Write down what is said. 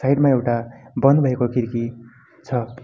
Side मा एउटा बन् भएको खिड्की छ।